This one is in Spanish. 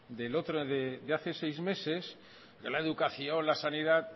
de hace seis meses la educación la sanidad